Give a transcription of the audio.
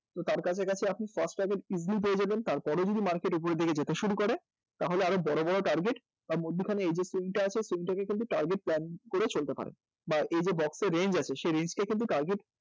তো তার কাছাকাছি আপনি first target easily পেয়েগেলেন তো তার পরে যদি market উপরের দিকে যেতে শুরু করে তাহলে আরও বড় বড় target বা মধ্যিখানে এই যে scene টা আছে সেই scene টা কে কিন্তু target plan করে চলতে পারেন বা এই যে box এ range আছে সেই range কে কিন্তু target